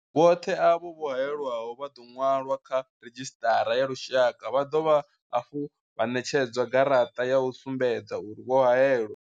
Vhoṱhe avho vho haelwaho vha ḓo ṅwalwa kha redzhisṱara ya lushaka vha dovha hafhu vha ṋetshedzwa garaṱa ya u sumbedza uri vho haelwa.